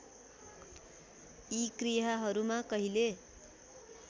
यी क्रियाहरूमा कहिले